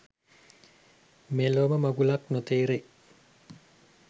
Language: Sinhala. මෙලෝම මඟුලක් නොතෙරේ.